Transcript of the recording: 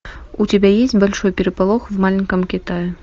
у тебя есть большой переполох в маленьком китае